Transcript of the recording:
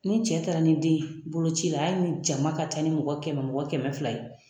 Ni cɛ taara ni den ye boloci la hali ni jama ka ca ni mɔgɔ kɛmɛ mɔgɔ kɛmɛ fila ye